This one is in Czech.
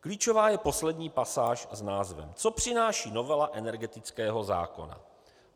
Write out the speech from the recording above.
Klíčová je poslední pasáž s názvem: Co přináší novela energetického zákona?